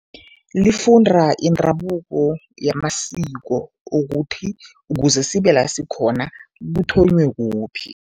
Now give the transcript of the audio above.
Lifunda indabuko yamasiko ukuthi ukuze sibe la sikhona, kuthonywe kuphi.